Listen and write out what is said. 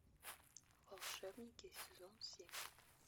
волшебники сезон семь